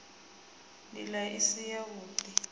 nd ila i si yavhud